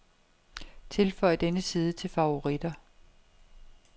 Tilføj denne side til favoritter.